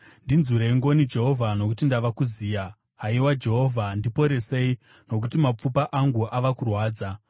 Ndinzwirei ngoni, Jehovha, nokuti ndava kuziya; haiwa Jehovha, ndiporesei, nokuti mapfupa angu ava kurwadza.